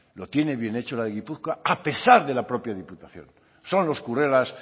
lo tiene bien hecho la de gipuzkoa a pesar de la propia diputación son los currelas